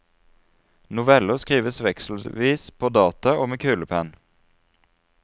Noveller skrives vekselvis på data og med kulepenn.